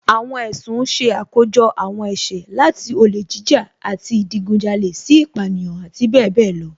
Àwọn ẹ̀sùn ṣe àkójọ àwọn ẹ̀ṣẹ̀, láti olè jíjà àti ìdigunjalè sí ìpánìyàn, àti bẹẹ bẹẹ lọ